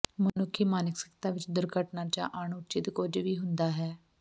ਮਨੁੱਖੀ ਮਾਨਸਿਕਤਾ ਵਿੱਚ ਦੁਰਘਟਨਾ ਜ ਅਣਉਚਿਤ ਕੁਝ ਵੀ ਹੁੰਦਾ ਹੈ